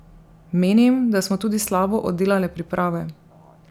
Menim, da smo tudi slabo oddelale priprave.